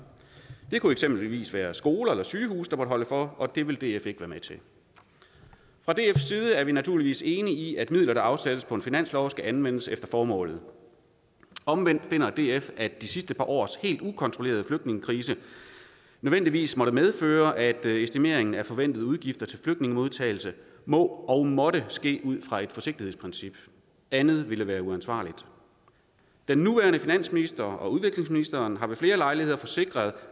det kunne eksempelvis være skoler eller sygehuse der måtte holde for og det vil df ikke være med til fra dfs side er vi naturligvis enige i at midler der afsættes på finansloven skal anvendes efter formålet omvendt finder df at de sidste par års helt ukontrollerede flygtningekrise nødvendigvis måtte medføre at estimeringen af forventede udgifter til flygtningemodtagelse må og måtte ske ud fra et forsigtighedsprincip andet ville være uansvarligt den nuværende finansminister og udviklingsministeren har ved flere lejligheder forsikret